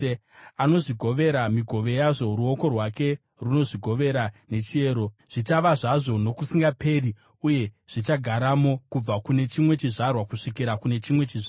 Anozvigovera migove yazvo; ruoko rwake runozvigovera nechiyero. Zvichava zvazvo nokusingaperi uye zvichagaramo kubva kune chimwe chizvarwa kusvikira kune chimwe chizvarwa.